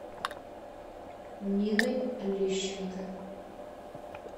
ниной лещенко